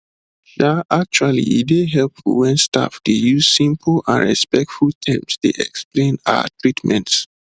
um actually e dey helpful wen staff dey use simple and respectful terms dey explain ah treatments